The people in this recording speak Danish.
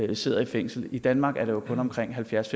der sidder i fængsel i danmark er det kun omkring halvfjerds